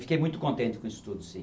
Fiquei muito contente com isso tudo, sim.